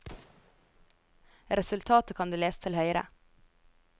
Resultatet kan du lese til høyre.